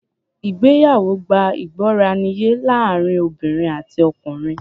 Ìgbéyàwó gbá ìgbọràniye láàrin obìnrin àti ọkùnrin.